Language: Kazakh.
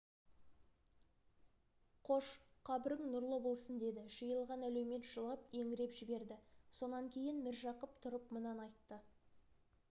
қош қабірің нұрлы болсын деді жиылған әлеумет жылап еңіреп жіберді сонан кейін міржақып тұрып мынаны айтты